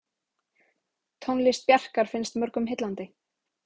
Tónlist Bjarkar finnst mörgum heillandi.